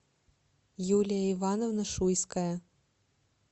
юлия ивановна шуйская